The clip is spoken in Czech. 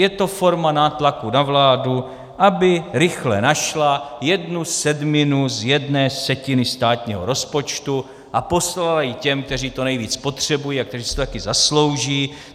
Je to forma nátlaku na vládu, aby rychle našla jednu sedminu z jedné setiny státního rozpočtu a poslala ji těm, kteří to nejvíc potřebují a kteří si to také zaslouží.